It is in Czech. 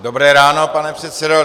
Dobré ráno, pane předsedo.